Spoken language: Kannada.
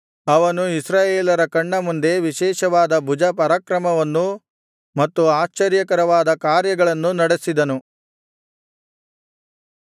ಅವನು ಇಸ್ರಾಯೇಲರ ಕಣ್ಣ ಮುಂದೆ ವಿಶೇಷವಾದ ಭುಜಪರಾಕ್ರಮವನ್ನೂ ಮತ್ತು ಆಶ್ಚರ್ಯಕರವಾದ ಕಾರ್ಯಗಳನ್ನೂ ನಡೆಸಿದನು